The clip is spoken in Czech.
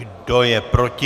Kdo je proti?